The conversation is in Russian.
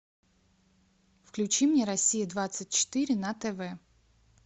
включи мне россия двадцать четыре на тв